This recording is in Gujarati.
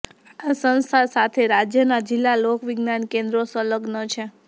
આ સંસ્થા સાથે રાજ્યનાં જિલ્લા લોકવિજ્ઞાન કેન્દ્રો સંલગ્ન છે